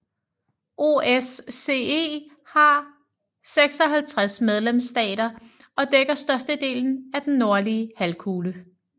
OSCE har 56 medlemsstater og dækker størstedelen af den nordlige halvkugle